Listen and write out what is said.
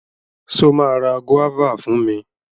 Ṣo ma ra gúọ́và fún mi?